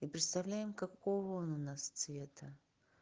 и представляем какого он у нас цвета